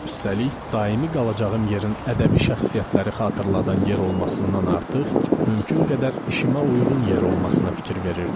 Üstəlik, daimi qalacağım yerin ədəbi şəxsiyyətləri xatırladan yer olmasından artıq, mümkün qədər işimə uyğun yer olmasına fikir verirdim.